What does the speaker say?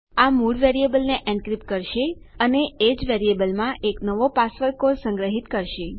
આ મૂળ વેરીએબલને એનક્રિપ્ટ કરશે અને એ જ વેરીએબલમાં એક નવો પાસવર્ડ કોડ સંગ્રહીત કરશે